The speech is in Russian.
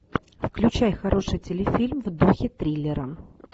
включай хороший телефильм в духе триллера